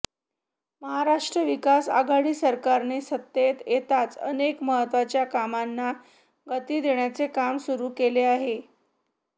महाराष्ट्र विकास आघाडी सरकारने सत्तेत येताच अनेक महत्त्वाच्या कामांना गती देण्याचे काम सुरू केले आहे